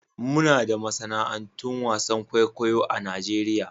Muna da masana'antun wasan kwaikwayo a Najeriya.